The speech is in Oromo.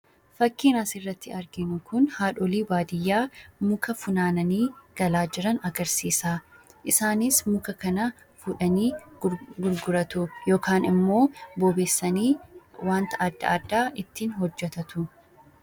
Fakkiin as irratti arginu Kun fakkii haadholii baadiyyaadhaa qoraan funaananii galaa jiranii dha. Isaannis qoraan kana gurguruu fi bobeeffachuun jireenya isaanii kan ittiin gaggeeffatanii dha.